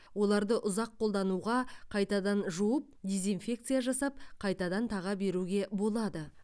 оларды ұзақ қолдануға қайтадан жуып дезинфекция жасап қайтадан таға беруге болады